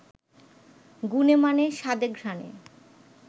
গুণে-মানে, স্বাদে-ঘ্রানে